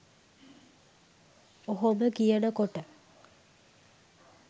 ඔහොම කියනකොට